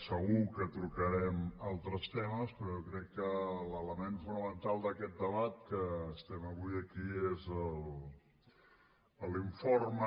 segur que tocarem altres temes però jo crec que l’element fonamental d’aquest debat que estem fent avui aquí és l’informe